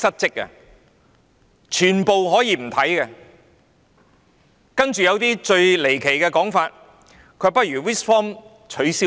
接着還有一些離奇的說法，指不如把 RISC forms 取消。